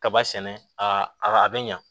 Kaba sɛnɛ a a a bɛ ɲa